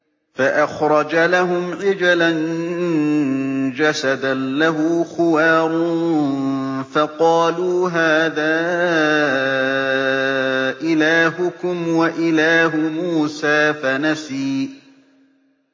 فَأَخْرَجَ لَهُمْ عِجْلًا جَسَدًا لَّهُ خُوَارٌ فَقَالُوا هَٰذَا إِلَٰهُكُمْ وَإِلَٰهُ مُوسَىٰ فَنَسِيَ